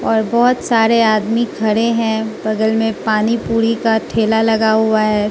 और बोहोत सारे आदमी खड़े हैं बगल में पानी पुरी का ठेला लगा हुआ है।